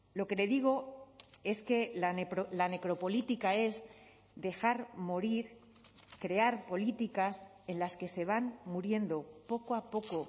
lo que le digo es que la necropolítica es dejar morir crear políticas en las que se van muriendo poco a poco